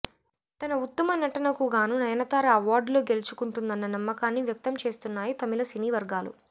తన ఉత్తమ నటనకుగాను నయనతార అవార్డులు గెలుచుకుంటుందన్న నమ్మకాన్ని వ్యక్తం చేస్తున్నాయి తమిళ సినీ వర్గాలు